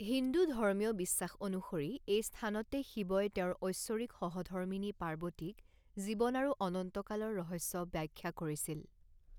হিন্দু ধৰ্মীয় বিশ্বাস অনুসৰি, এই স্থানতে শিৱই তেওঁৰ ঐশ্বৰিক সহধৰ্মিনী পাৰ্বতীক জীৱন আৰু অনন্ত কালৰ ৰহস্য ব্যাখ্যা কৰিছিল।